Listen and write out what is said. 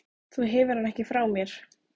Þú hefur hann ekki frá mér.